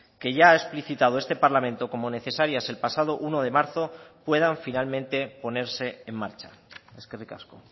que ya ha explicitado este parlamento como necesarias el pasado uno de marzo puedan finalmente ponerse en marcha eskerrik asko